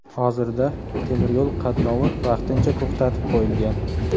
Hozirda temir yo‘l qatnovi vaqtincha to‘xtatib qo‘yilgan.